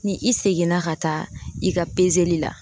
Ni i seginna ka taa i ka li la